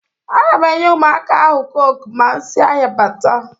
A ga m enye ụmụaka ahụ cọke ma m si ahia bata